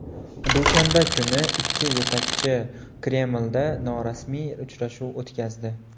Dushanba kuni ikki yetakchi Kremlda norasmiy uchrashuv o‘tkazdi.